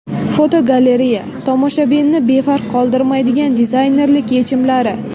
Fotogalereya: Tomoshabinni befarq qoldirmaydigan dizaynerlik yechimlari.